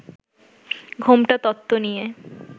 'ঘোমটা তত্ত্ব' নিয়ে